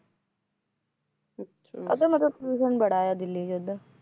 ਉਧਰ ਮਤਲਬ pollution ਬੜਾ ਆ ਦਿੱਲੀ ਚ ਉਧਰ